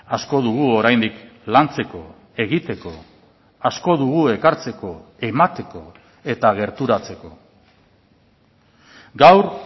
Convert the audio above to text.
asko dugu oraindik lantzeko egiteko asko dugu ekartzeko emateko eta gerturatzeko gaur